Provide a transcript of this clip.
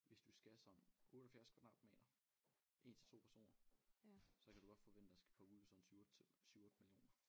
Hvis du skal sådan 78 kvadratmeter 1 til 2 personer så kan du godt forvente at skal punge ud sådan 7 8 7 8 millioner